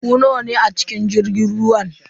Ku nawa ne a cikin jirgin ruwan?